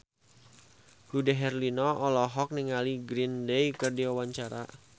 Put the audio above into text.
Dude Herlino olohok ningali Green Day keur diwawancara